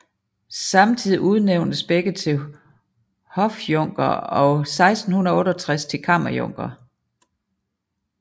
Samtidig udnævntes begge til hofjunkere og 1668 til kammerjunkere